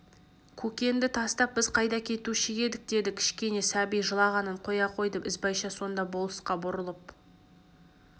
көкенді тастап біз қайда кетуші едік деді кішкене сәби жылағанын қоя қойды ізбайша сонда болысқа бұрылып